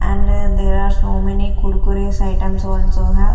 and there are so many kurkures items also have.